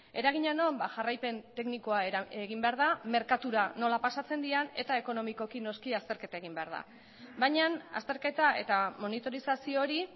eragina non jarraipen teknikoa egin behar da merkatura nola pasatzen diren eta ekonomikoki noski azterketa egin behar da baina azterketa eta monitorizazio hori